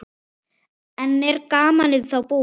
En er gamanið þá búið?